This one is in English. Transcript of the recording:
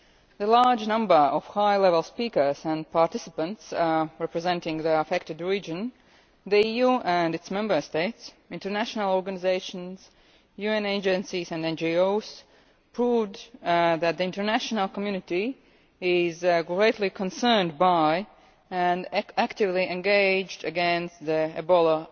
The large number of high level speakers and participants representing the affected region, the EU and its Member States, international organisations, UN agencies and NGOs, proved that the international community is greatly concerned by, and actively engaged against, the Ebola